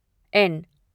N